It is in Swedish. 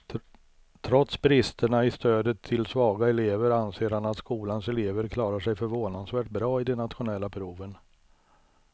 Trots bristerna i stödet till svaga elever anser han att skolans elever klarar sig förvånansvärt bra i de nationella proven.